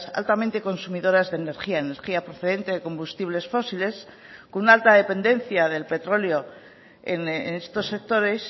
altamente consumidoras de energía energía procedente de combustibles fósiles con una alta dependencia del petróleo en estos sectores